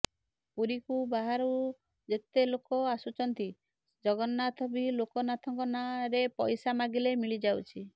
ପୁରୀକୁ ବାହାରୁ ଯେତେ ଲୋକ ଆସୁଚନ୍ତି ଜଗନ୍ନାଥ କି ଲୋକନାଥଙ୍କ ନାଁ ରେ ପଇସା ମାଗିଲେ ମିଳିଯାଉଛି